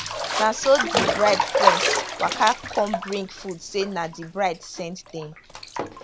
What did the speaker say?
na so di bride friends waka come bring food say na di bride send dem